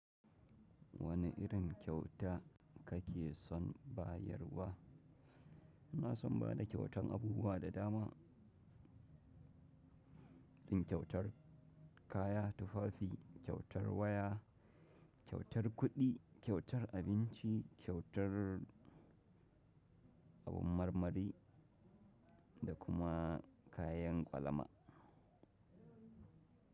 Wane irin kyauta kake son bayarwa? Ina son ba da kyautan abubuwa da dama, yin kyautar, kaya tufafi, kyautar waya, kyautar kuɗi, kyautar abinci, kyautar abun marmari, da kuma kayan kwalama.